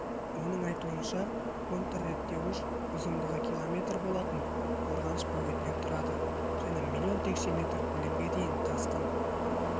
оның айтуынша контрреттеуіш ұзындығы км болатын қорғаныш бөгетінен тұрады және млн текше метр көлемге дейін тасқын